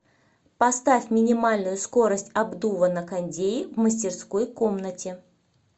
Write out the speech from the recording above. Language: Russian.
поставь минимальную скорость обдува на кондее в мастерской комнате